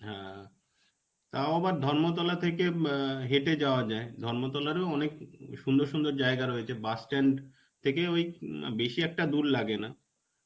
হ্যাঁ, তাও আবার ধর্মতলা থেকে এম ম হেটে যাওয়া যায়. ধর্মতলায়ও অনেক সুন্দর সুন্দর জায়গা রয়েছে. bus stand থেকে ওই ম বেশী একটা দূর লাগেনা.